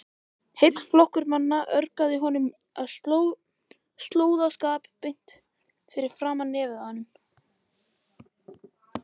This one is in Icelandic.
Heill flokkur manna ögraði honum með slóðaskap beint fyrir framan nefið á honum!